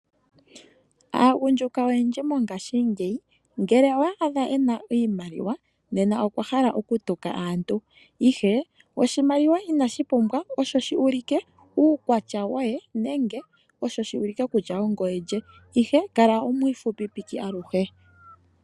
Aagundjuka oyendji mongashingeyi ngele owa adha ena iimaliwa nena ohakala ahala okutuka aantu, Ashike oshimaliwa inashi pumbwa osho shi ulike uukwatya woye nenge osho shi ulike kutya ongoye lye. Kala omwiifupipiki aluhe.